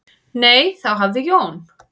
"""Nei, þá hafði Jón"""